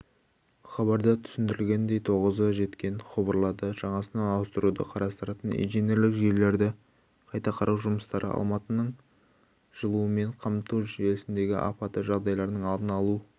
хабарда түсіндірілгендей тозығы жеткен құбырларды жаңасына ауыстыруды қарастыратын инженерлік желілерді қайта қарау жұмыстары алматының жылумен қамту жүйесіндегі апатты жағдайлардың алдын алу